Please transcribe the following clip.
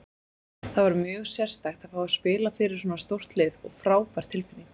Það var mjög sérstakt að fá að spila fyrir svona stórt lið og frábær tilfinning.